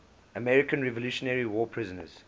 american revolutionary war prisoners